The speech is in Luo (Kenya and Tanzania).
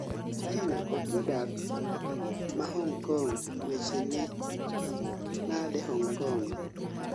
China kod jodak ma Hong Kong weche ni nade Hong Kong?